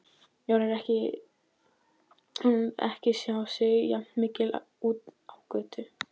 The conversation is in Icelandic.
Jón ekki sjá sig jafn mikið úti á götu.